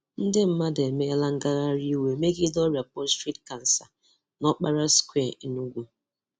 Ndị mmadụ emela ngagharị iwe megide ọrịa Prostate Cancer n'Okpara square Enugwu.